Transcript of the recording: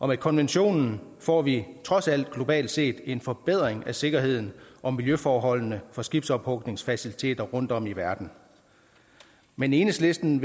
med konventionen får vi trods alt globalt set en forbedring af sikkerheden og miljøforholdene for skibsophugningsfaciliteter rundtomkring i verden men enhedslisten